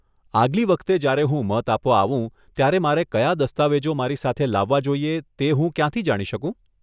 આગલી વખતે જ્યારે હું મત આપવા આવું ત્યારે મારે કયા દસ્તાવેજો મારી સાથે લાવવા જોઈએ તે હું ક્યાંથી જાણી શકું?